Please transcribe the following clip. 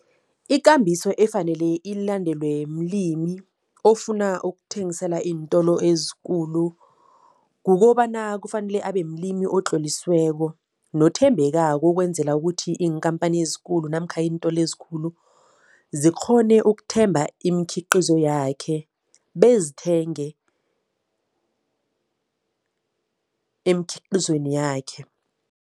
Ikambiso efanele ilandelwe mlimi ofuna ukuthengisela iintolo ezikulu, kukobana kufanele abe mlimi otlolisiweko nothembekako ukwenzela ukuthi iinkhamphani ezikulu namkha iintolo ezikhulu zikghone ukuthemba imikhiqizo yakhe bezithenge emkhiqizweni yakhe.